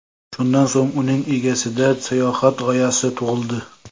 Shundan so‘ng uning egasida sayohat g‘oyasi tug‘ildi.